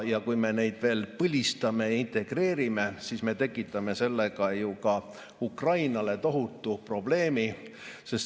Kui me neid veel põlistame, integreerime, siis me tekitame sellega Ukrainale tohutu probleemi.